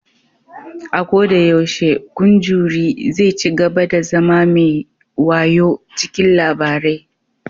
A koda yaushe, kun jury zai cigaba da zama mai wayau cikin labarai